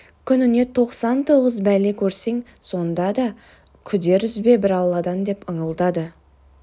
күніне тоқсан тоғыз бәле көрсең сонда да күдер үзбе бір алладан деп ыңылдады